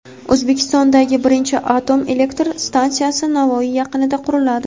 O‘zbekistondagi birinchi atom elektr stansiyasi Navoiy yaqinida quriladi.